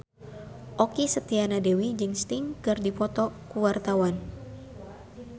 Okky Setiana Dewi jeung Sting keur dipoto ku wartawan